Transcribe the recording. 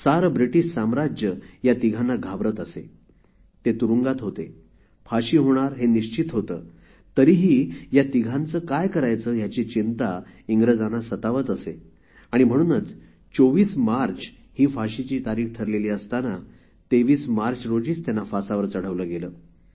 सारे ब्रिटीश साम्राज्य या तिघांना घाबरत असे ते तुरुंगात होते फाशी होणार हे निश्चित होते तरीही या तिघांचे काय करायचे ह्याची चिंता इंग्रजांना सतावत असे आणि म्हणूनच २४ मार्च ही फाशीची तारीख ठरलेली असताना २३ मार्च रोजी त्यांना फासावर चढवले गेले